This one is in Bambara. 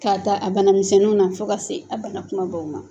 K'a ta a bana misɛnnu na fo ka taa se a bana kumabaw ma